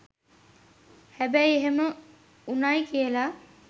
හැබැයි එහෙම වුණයි කියලා